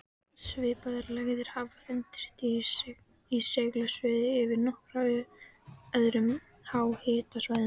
Svipaðar lægðir hafa fundist í segulsviðinu yfir nokkrum öðrum háhitasvæðum.